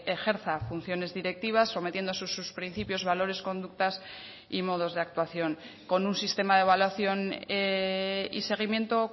ejerza funciones directivas sometiendo a sus principios valores conductas y modos de actuación con un sistema de evaluación y seguimiento